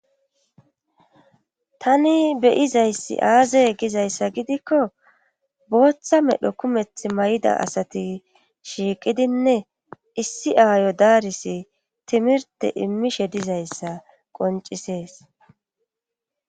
Tani beyizayssi aazey gizayssa gidikko booththa medhdho kumeththi may'ida asati shiiqidinne issi aayo daaris timirte immishshe dizayssa qoncisees